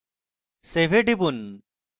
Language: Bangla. save এ টিপুন